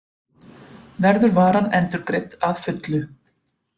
Verður varan endurgreidd að fullu